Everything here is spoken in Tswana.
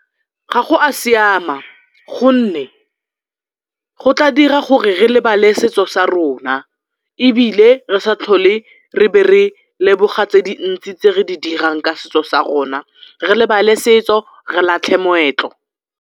Ga go a siama gonne go tla dira gore re lebale setso sa rona ebile re sa tlhole re be re leboga tse dintsi tse re di dirang ka setso sa rona, re lebale setso, re latlhe moetlo.